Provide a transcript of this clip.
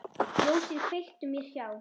Ljósið kveiktu mér hjá.